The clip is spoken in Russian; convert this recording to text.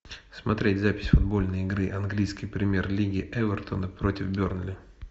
смотреть запись футбольной игры английской премьер лиги эвертона против бернли